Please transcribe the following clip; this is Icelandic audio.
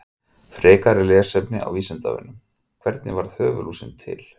Frekara lesefni á Vísindavefnum: Hvernig varð höfuðlúsin til?